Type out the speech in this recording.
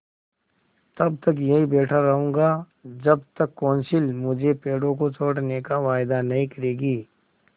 तब तक यहीं बैठा रहूँगा जब तक कौंसिल मुझे पेड़ों को छोड़ने का वायदा नहीं करेगी